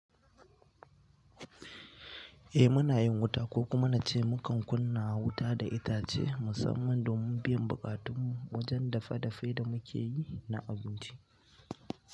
Eh muna yin wuta ko kuma na ce mukan kunna wuta da itace musamman domin biyan buƙatun mu wajen dafe dafen da muke yi na abinci.